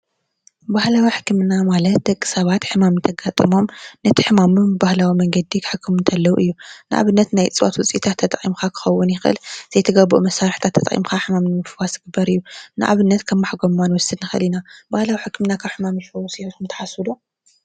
ባህላዊ ሕክምና ማለት ደቂ ሰባት ሕማም እንተጋጥሞም ነቲ ሕማሞም ብባህላዊ መንገዲ ክሕክሙ ከለው እዩ ። ንኣብነት:- ናይ እፅዋት ውፅኢታት ተጠቂምካ ክኸውን ይኽእ ዘይተገብኡ መሳርሕታት ተጠቂምካ ሕማም ንምፍዋስ ዝግበር እዩ ። ንኣብነት:- ከም ማሕጎማ ክንወስድ ንክእል ኢና። ባህላዊ ሕክምና ካብ ሕማም ይፍውስ ኢልኩም ትሓስቡ ዶ?